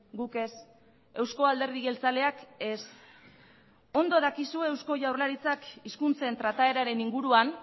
guk ez eusko alderdi jeltzaleak ez ondo dakizu eusko jaurlaritzak hizkuntzen trataeraren inguruan